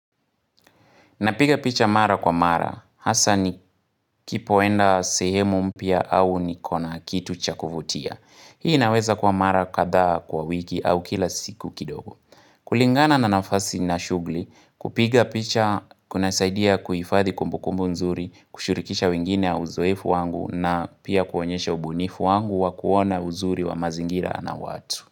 Napiga picha mara kwa mara, hasa ni kipoenda sehemu mpya au niko na kitu cha kuvutia. Hii inaweza kuwa mara kadhaa kwa wiki au kila siku kidogo. Kulingana na nafasi na shughuli, kupiga picha kuna saidia kuhifadhi kumbukumbu nzuri, kushirikisha wengine na uzoefu wangu na pia kuonyesha ubunifu wangu wa kuona uzuri wa mazingira na watu.